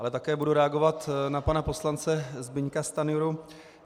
Ale také budu reagovat na pana poslance Zbyňka Stanjuru.